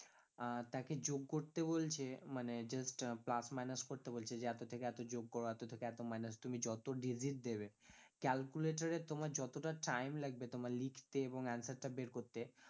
আহ তাকে যোগ করতে বলছে মানে just আহ plus minus করতে বলছে যে এতো থেকে যোগ করো এতো থেকে minus তুমি যত digit দেবে calculator এ তোমার যতটা time লাগবে তোমার লিখতে এবং answer টা বের করতে